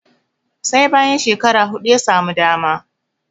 sai bayan shekara hudu ya samu dama